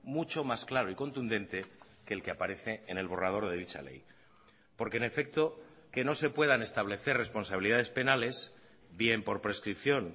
mucho más claro y contundente que el que aparece en el borrador de dicha ley porque en efecto que no se puedan establecer responsabilidades penales bien por prescripción